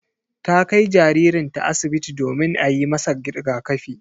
Ta kai jaririnta asibiti domin a yi masa rigakafi.